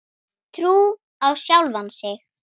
Trú á sjálfan sig.